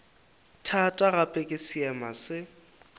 thata gape ke seema se